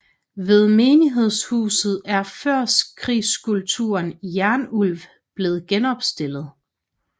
Ved menighedshuset er førkrigsskulpturen Jernulv blevet genopstillet